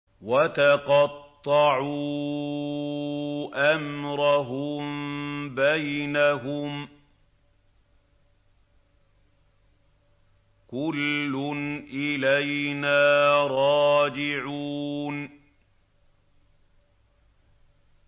وَتَقَطَّعُوا أَمْرَهُم بَيْنَهُمْ ۖ كُلٌّ إِلَيْنَا رَاجِعُونَ